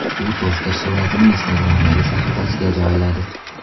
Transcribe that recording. U toster suratini Instagram’dagi sahifasiga joyladi .